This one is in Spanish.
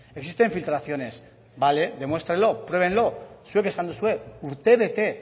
existen filtraciones vale demuéstrenlo pruébenlo zuek esan duzue urtebete